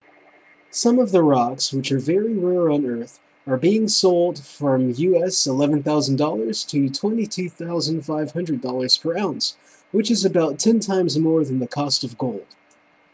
some of the rocks which are very rare on earth are being sold from us$11,000 to $22,500 per ounce which is about ten times more than the cost of gold